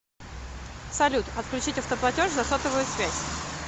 салют отключить автоплатеж за сотовую связь